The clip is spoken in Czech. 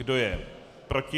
Kdo je proti?